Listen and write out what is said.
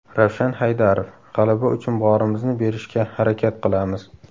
Ravshan Haydarov: G‘alaba uchun borimizni berishga harakat qilamiz.